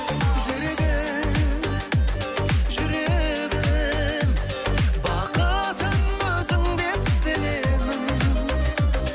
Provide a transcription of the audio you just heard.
жүрегім жүрегім бақытым өзіңдеп білемін